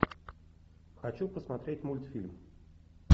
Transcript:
хочу посмотреть мультфильм